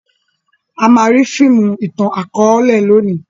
a má ri fíìmù itan-akọọlẹ lóni